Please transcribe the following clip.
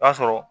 I b'a sɔrɔ